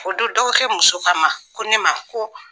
O don dɔgɔkɛ muso k'o a ma ko ne ma ko